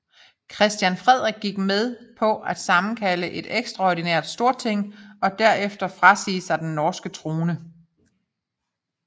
Christian Frederik gik med på at sammenkalde et ekstraordinært Storting og derefter frasige sig den norske trone